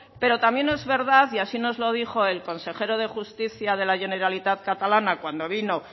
pero también es verdad y así nos lo dijo el consejero de justicia de la generalitat catalana cuando vino